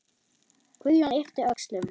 Guðjón yppti öxlum.